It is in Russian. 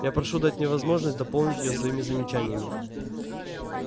я прошу дать мне возможность дополнить её своими замечаниями